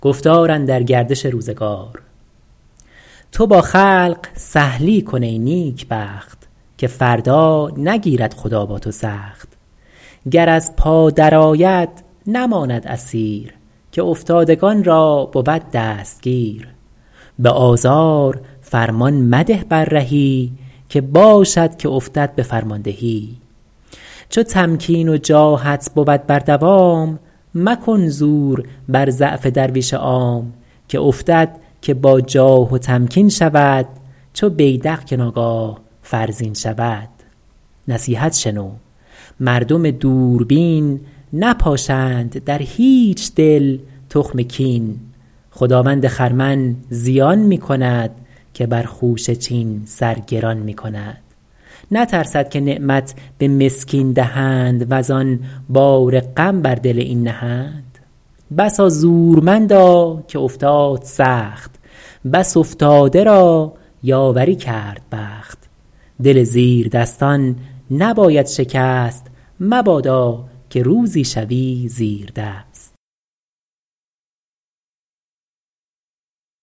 تو با خلق سهلی کن ای نیکبخت که فردا نگیرد خدا با تو سخت گر از پا در آید نماند اسیر که افتادگان را بود دستگیر به آزار فرمان مده بر رهی که باشد که افتد به فرماندهی چو تمکین و جاهت بود بر دوام مکن زور بر ضعف درویش عام که افتد که با جاه و تمکین شود چو بیدق که ناگاه فرزین شود نصیحت شنو مردم دوربین نپاشند در هیچ دل تخم کین خداوند خرمن زیان می کند که بر خوشه چین سر گران می کند نترسد که نعمت به مسکین دهند وزآن بار غم بر دل این نهند بسا زورمندا که افتاد سخت بس افتاده را یاوری کرد بخت دل زیر دستان نباید شکست مبادا که روزی شوی زیردست